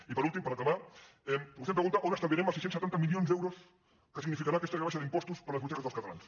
i per últim per acabar vostè em pregunta on estalviarem els sis cents i setanta milions d’euros que significarà aquesta rebaixa d’impostos per a les butxaques dels catalans